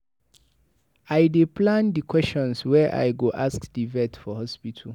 I dey plan di questions wey I go ask di vet for hospital.